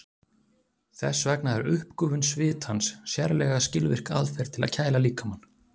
Þess vegna er uppgufun svitans sérlega skilvirk aðferð til að kæla líkamann.